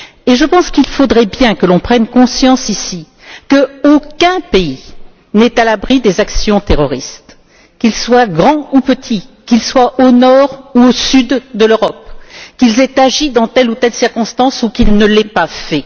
Je pense qu'il faudrait bien que l'on prenne conscience, ici, qu'aucun pays n'est à l'abri des actions terroristes, qu'il soit grand ou petit, qu'il soit au nord ou au sud de l'Europe, qu'il ait agi dans telle ou telle circonstance ou qu'il ne l'ait pas fait.